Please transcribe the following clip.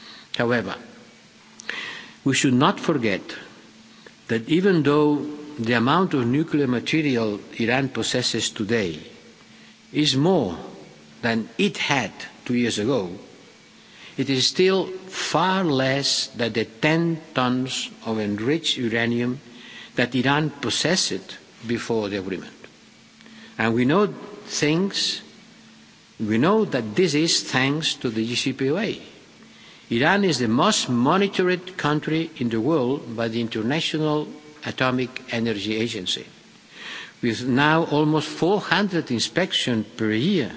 it. However, we should not forget that even though the amount of nuclear material Iran possesses today is more than it had two years ago, it is still far less than the 10 tonnes of enriched uranium that Iran possessed before the agreement. We know that this is thanks to the JCPOA. Iran is the most monitored country in the world by the International Atomic Energy Agency, with now almost 400 inspections per